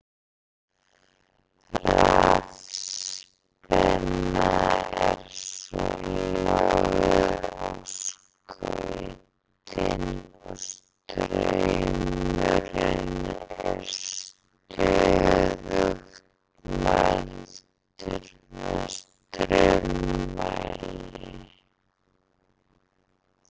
Rafspenna er svo lögð á skautin og straumurinn er stöðugt mældur með straummæli.